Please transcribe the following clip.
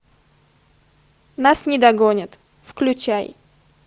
нас не догонят включай